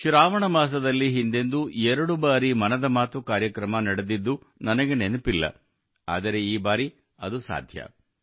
ಶ್ರಾವಣ ಮಾಸದಲ್ಲಿ ಹಿಂದೆಂದೂ ಎರಡು ಬಾರಿ ಮನದ ಮಾತು ಕಾರ್ಯಕ್ರಮ ನಡೆದಿದ್ದು ನನಗೆ ನೆನಪಿಲ್ಲ ಆದರೆ ಈ ಬಾರಿ ಅದು ಸಾಧ್ಯವಾಗಿದೆ